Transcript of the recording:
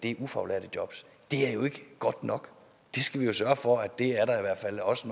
er ufaglærte job er jo ikke godt nok vi skal sørge for at der i hvert fald også